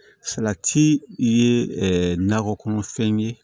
Salati ye nakɔ kɔnɔfɛn ye